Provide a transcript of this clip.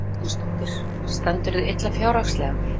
Helga Arnardóttir: Stendurðu illa fjárhagslega?